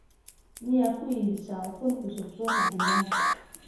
miyaa ku iibisaa ukun cusub suuqa deegaanka